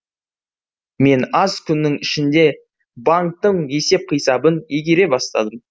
мен аз күннің ішінде банктің есеп қисабын игере бастадым